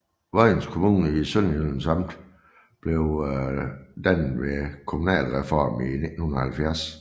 Vojens Kommune i Sønderjyllands Amt blev dannet ved kommunalreformen i 1970